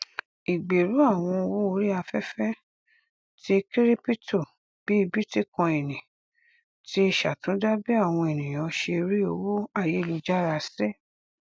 ìgbèrú àwọn owó orí afẹfẹ ti kíríptò bí bítíkọínì ti ṣàtúndá bí àwọn ènìyàn ṣe rí owó àyélujára sí